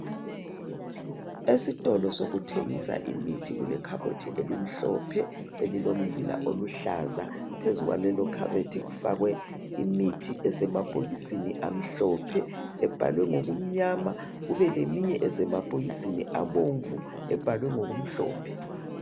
Esitolo sokuthengisa imithi kulekhabothi elimhlphe elilomzila oluhlaza phezu kwalelo khabothi kufakwe imithi esemabhokisini amhlophe ebhalwe ngokumnyama kube leminye esemabhokisini abomvu ebhalwe ngokumhlophe.